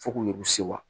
Fo k'u yɛrɛ sewa